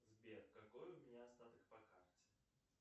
сбер какой у меня остаток по карте